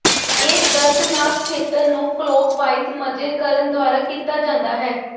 ਇਹ ਦਰਦਨਾਕ ਖੇਤਰ ਨੂੰ ਕਲੋਕਵਾਈਜ਼ ਮਜ਼ੇ ਕਰਨ ਦੁਆਰਾ ਕੀਤਾ ਜਾਂਦਾ ਹੈ